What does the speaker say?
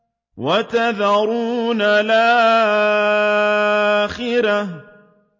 وَتَذَرُونَ الْآخِرَةَ